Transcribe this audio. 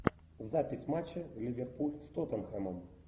запись матча ливерпуль с тоттенхэмом